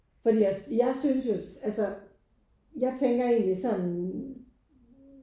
Fordi jeg jeg synes jo altså jeg tænker egentlig sådan